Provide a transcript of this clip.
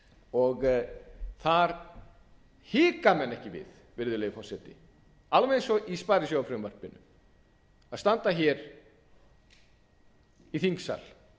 og þar hika menn ekki við virðulegi forseti alveg eins og í sparisjóðafrumvarpinu að standa í þingsal